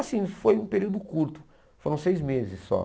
Assim, foi um período curto, foram seis meses só.